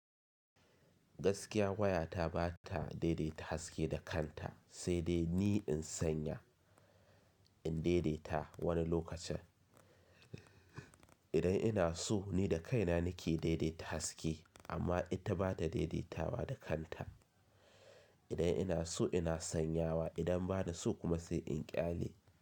Gaskiya waya ta ba ta daidaita haske da kanta sai dai ni in sanya, in daidaita wani lokacin. Idan ina so ni da kaina nake daidaita haske amma ita bata daidaitawa da kanta. Idan ina so ina sanyawa, idan bana so kuma sai in ƙyale.